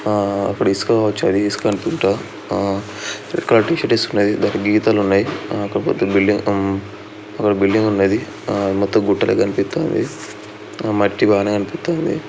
ఆ అక్కడ ఇసుక కావచ్చు ఇసుక అనుకుంటా. ఆ రెడ్ కలర్ టి షర్ట్ వేసుకొని దానికి గీతాలు ఉన్నాయి. ఒక పెద్ద బిల్డింగ్ ఒక బిల్డింగ్ ఉన్నది. ఆ మొత్తం గుట్టలే కనిపితంది. ఆ మట్టిగానేే అనిపితంది.